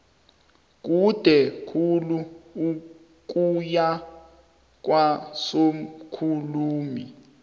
kude khulu ukuya kwasokhulumi